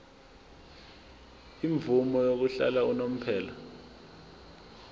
imvume yokuhlala unomphela